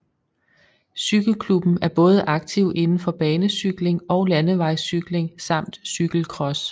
Cykelklubben er både aktiv inden for banecykling og landevejscykling samt cykelcross